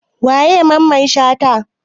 Wa ye Mamman shata?